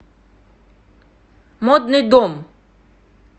модный дом